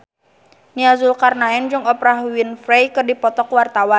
Nia Zulkarnaen jeung Oprah Winfrey keur dipoto ku wartawan